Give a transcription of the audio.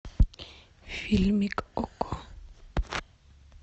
фильмик окко